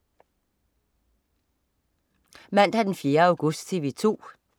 Mandag den 4. august - TV 2: